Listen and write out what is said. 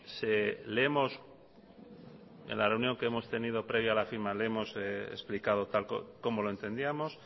en la reunión que hemos tenido previa a la firma le hemos explicado cómo lo entendíamos